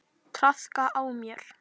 Traðka á mér!